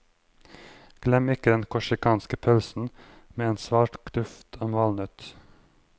Glem ikke den korsikanske pølsen, med svak duft av valnøtt.